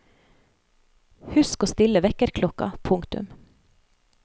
Husk å stille vekkerklokka. punktum